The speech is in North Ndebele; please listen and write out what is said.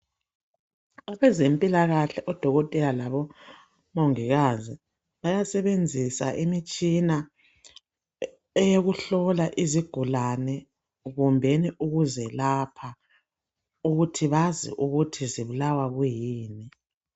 Abezempilakahle odokotela labomongikazi bayasebenzisa imitshina eyokuhlola izigulane kumbe ukuzelapha, ukuthi bayazi ukuthi zibulawa yini.